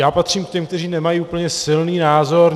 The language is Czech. Já patřím k těm, kteří nemají úplně silný názor.